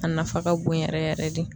A nafa ka bon yɛrɛ yɛrɛ de.